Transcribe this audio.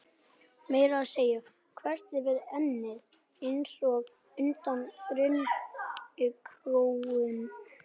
Meira að segja þvert yfir ennið, einsog undan þyrnikórónu.